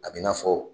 A b'i n'a fɔ